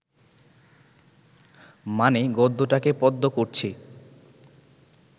মানে গদ্যটাকে পদ্য করছি